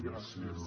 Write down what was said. gràcies